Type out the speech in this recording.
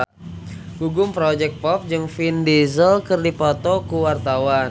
Gugum Project Pop jeung Vin Diesel keur dipoto ku wartawan